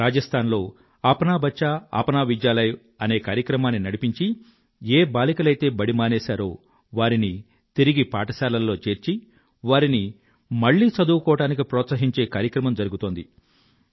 రాజస్థాన్ లో అప్నా బచ్చా అప్నా విద్యాలయ అనే కార్యక్రమాన్ని నడిపించి ఏ బాలికలైతే బడి మానేశారో వారిని తిరిగి పాఠశాలలో చేర్చి వారిని మళ్ళీ చదువుకోవడానికి ప్రోత్సహించే కార్యక్రమం జరుగుతోంది